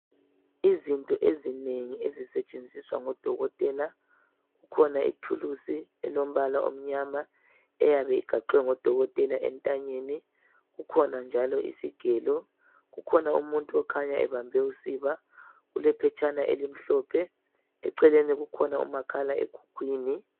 Izinto ezinengi ezisetshenziswa ngodokotela kukhona ithuluzi elombala omnyama eyabe igaxwe ngudokotela entanyeni kukhona njalo isigelo kukhona umuntu okhanya ebambe usiba kule phetshana elimhlophe eceleni kukhona umakhalekhukhwini.